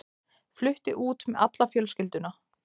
Flutti út með alla fjölskylduna.